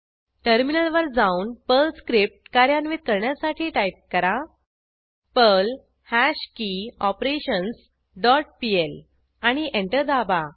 टर्मिनलवर जाऊन Perl script कार्यान्वित करण्यासाठी टाईप करा पर्ल हॅशकिऑपरेशन्स डॉट पीएल आणि एंटर दाबा